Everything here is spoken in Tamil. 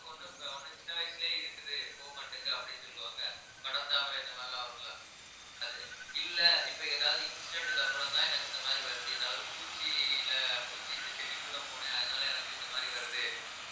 ஒண்ணு ப~ சின்ன வயசுலேயே இருக்குது போக மாட்டேங்குது அப்படின்னு சொல்லுவாங்க படர்தாமரை இந்த மாதிரி எல்லாம் வரும் இல்ல அது, இல்லை இப்ப ஏதாவது incident க்கு அப்புறம்தான் எனக்கு இந்த மாதிரி வருது ஏதாவது பூச்சி இல்ல பூச்சி இந்த செடிக்குள்ள போனேன் அதனால எனக்கு இந்த மாதிரி வருது